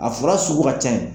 A fura sugu ka can ye.